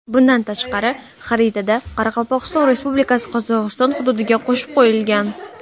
Bundan tashqari, xaritada Qoraqalpog‘iston Respublikasi Qozog‘iston hududiga qo‘shib qo‘yilgan.